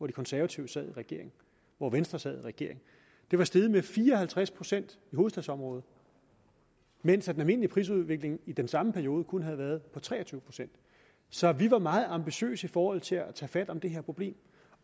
de konservative sad i regering og venstre sad i regering det var steget med fire og halvtreds procent i hovedstadsområdet mens den almindelige prisudvikling i den samme periode kun havde været på tre og tyve procent så vi var meget ambitiøse i forhold til at tage fat om det her problem